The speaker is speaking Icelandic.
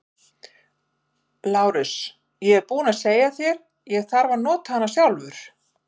LÁRUS: Ég er búinn að segja að ég þarf að nota hana sjálfur.